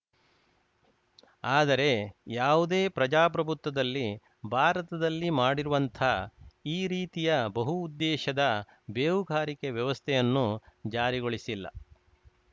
ಆದರೆ ಯಾವುದೇ ಪ್ರಜಾಪ್ರಭುತ್ವದಲ್ಲಿ ಭಾರತದಲ್ಲಿ ಮಾಡಿರುವಂಥ ಈ ರೀತಿಯ ಬಹುಉದ್ದೇಶದ ಬೇಹುಗಾರಿಕೆ ವ್ಯವಸ್ಥೆಯನ್ನು ಜಾರಿಗೊಳಿಸಿಲ್ಲ